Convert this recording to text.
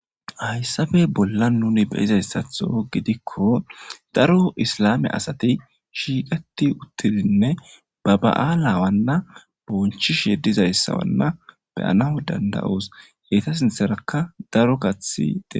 Hayssabe bolla nuni beyizayssatho gidikko daro islame asati shiiqati uttidinne ba ba'aalawanna bonchisheedizayssawanna beyana danda'oos heyta sintherakka daro kathi ee.